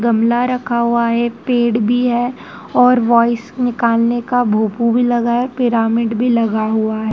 गमला रखा हुआ है पेड़ भी है और वॉइस निकालने का भोपू भी लगा है पिरामिड भी लगा हुआ है।